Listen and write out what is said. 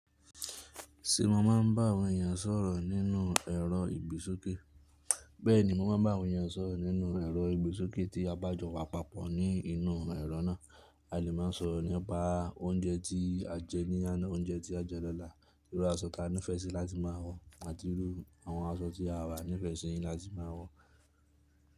Ṣé mo máa bá àwọn èèyàn sọ̀rọ̀ nínú ẹrọ ìgbésókè? Bẹ́ẹ̀ni, mo máa bá àwọn èèyàn sọ̀rọ̀ nínú ẹrọ ìgbésókè tí a bá jọ wà papọ̀ ní inú ẹrọ náà. A lè máa sọ̀rọ̀ nípa oúnjẹ tí a jẹ ní àná, oúnjẹ tí a jẹ lọ́la, irú aṣọ tí a nífẹ̀ẹ́ sí láti máa wọ̀ àti irú àwọn aṣọ tí àwa nífẹ̀ẹ́ sí láti máa wọ̀